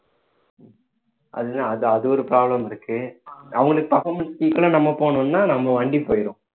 அதுதான் அது அது ஒரு problem இருக்கு அவங்களுக்கு performance equal ஆ நம்ம போனோம்னா நம்ம வண்டி போயிடும்